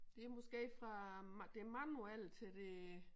Det måske fra det manuelle til det